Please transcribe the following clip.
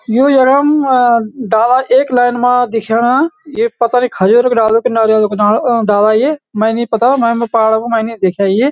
यु यखम डाला एक लैन मा दिख्याणा एक पसरी खजूर कु डालू कि नारियलों कु दानो डाला ये मै नी पता मैम पहाड कू मैं नहीं देख्याई।